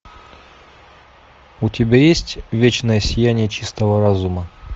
у тебя есть вечное сияние чистого разума